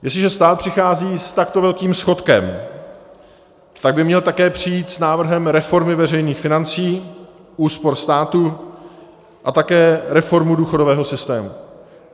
Jestliže stát přichází s takto velkým schodkem, tak by měl také přijít s návrhem reformy veřejných financí, úspor státu a také reformou důchodového systému.